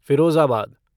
Firozabad